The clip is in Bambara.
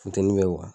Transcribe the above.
Funteni bɛ